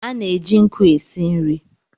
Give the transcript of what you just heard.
A na-eji nkụ e si nri.